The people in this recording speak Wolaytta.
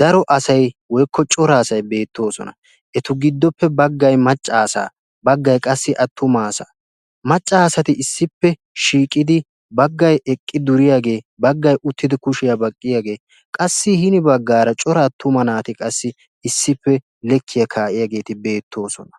daro asatti beetosonna. Hegankka maca naatinne leekiya kaa'iya atuma asatti beetosonna.